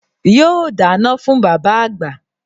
Yóò dáná fún bàbá àgbà